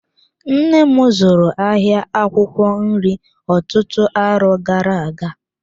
Nnem zụrụ ahịa akwụkwọ nri ọtụtụ arọ gara-aga.